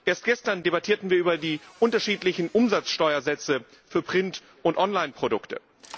Erst gestern debattierten wir über die unterschiedlichen Umsatzsteuersätze für Print und Online Produkte.